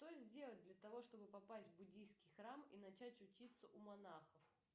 что сделать для того чтобы попасть в буддийский храм и начать учиться у монахов